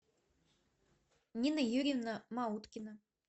нина юрьевна мауткина